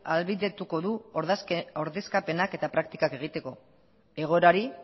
ahalbideratuko du ordezkapenak eta praktikak egiteko egoera hori